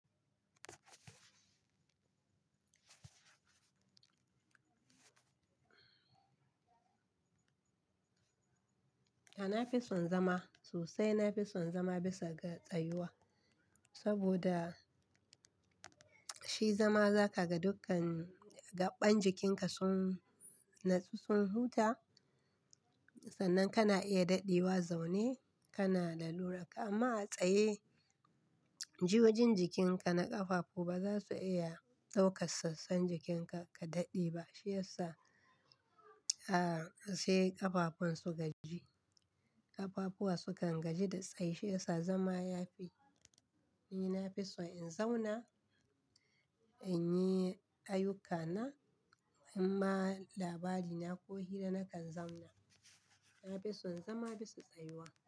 A'a nafison zama, sosai nafison zama bisa ga tsayuwa. Saboda shi zama za ka ga dukkan gaɓɓen jikinka sun natsu sun huta, sannan kana iya daɗewa zaune kana da laluraka. Amma a tsaye, jiyoyin jikinka na ƙafafu ba za su iya ɗaukar sassan jikinka ka daɗe ba. Shi yasa, aa sai ƙafafun su gaji, ƙafafuwa sukan gaji da tsaye. Shi yasa zama ya fi. Ni nafison in zauna in yi ayyukana in ma labarina ko hira nakan zauna. Nafison zama bisa tsayuwa.